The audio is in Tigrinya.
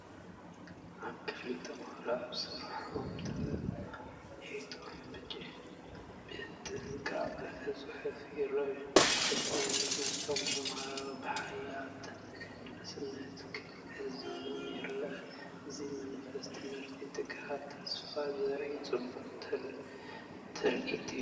ኣብ ክፍሊ፡ ተማሃሮ ኣብ ስርሖም ተዋሒጦም ብጥንቃቐ ክጽሕፉ ይረኣዩ። እቲ መምህር ነቶም ተምሃሮ ብሓያል ተገዳስነት ክዕዘቦም ይረአ። እዚ መንፈስ ትምህርቲ፡ ትግሃትን ተስፋን ዘርኢ ጽቡቕ ትርኢት እዩ።